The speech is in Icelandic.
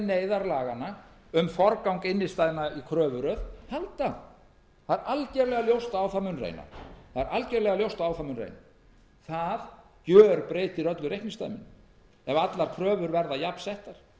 neyðarlaganna um forgang innstæðna í kröfuröð halda það er algerlega ljóst að á það mun reyna það gjörbreytir öllu reikningsdæminu ef allar kröfur verða jafnsettar